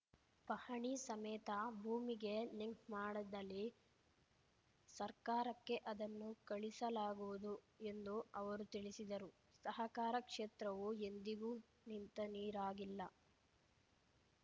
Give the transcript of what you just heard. ಪಹಣಿ ಸಮೇತ ಭೂಮಿಗೆ ಲಿಂಕ್‌ ಮಾಡದಲ್ಲಿ ಸರ್ಕಾರಕ್ಕೆ ಅದನ್ನು ಕಳಿಸಲಾಗುವುದು ಎಂದು ಅವರು ತಿಳಿಸಿದರು ಸಹಕಾರ ಕ್ಷೇತ್ರವು ಎಂದಿಗೂ ನಿಂತ ನೀರಾಗಿಲ್ಲ